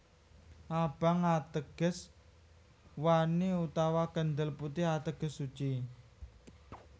Abang ateges wani utawa kendel putih ateges suci